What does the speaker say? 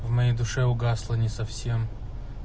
в моей душе угасла не совсем